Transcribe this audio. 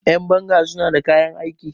Yanbanga suna da kayan aiki